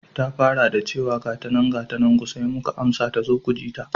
Ta fara da chewa, gatanan gatanan ku sai muka amsa tazo mujita.